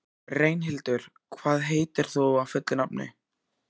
Reynhildur, hvað heitir þú fullu nafni?